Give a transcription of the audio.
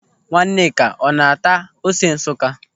Nwaneka ọ na-ata ose Nsụka?